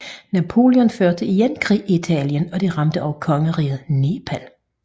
Napoleon førte igen krig i Italien og det ramte også kongeriget Neapel